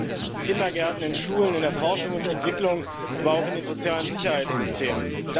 fehlen in Kindergärten, in Schulen, in der Forschung und Entwicklung, aber auch in den sozialen Sicherheitssystemen.